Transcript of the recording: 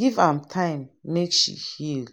give am time make she heal.